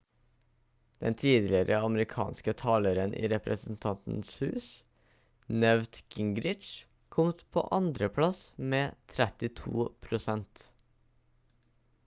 den tidligere amerikanske taleren i representantenes hus newt gingrich kom på andreplass med 32 prosent